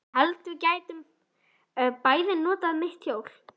Ég hélt við gætum bæði notað mitt hjól.